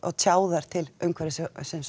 tjá þær til umhverfisins